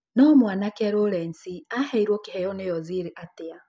No mwanake Lawrence aheirwo kĩheyo nĩ ozil atĩa